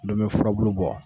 ndomi furabulu bɔ.